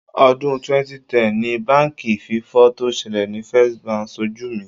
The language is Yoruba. Ọdún 2010 ni báǹkì fífọ́ tó ṣẹlẹ̀ ni First Bank ṣojú mi.